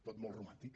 tot molt romàntic